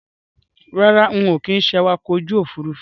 Rárá, ń ó kin ṣé awakọ̀ ojú Òfurufú